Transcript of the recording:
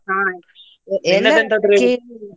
ಹಾ .